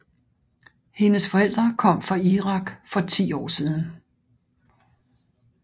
Hendes forældre kom fra Irak for 10 år siden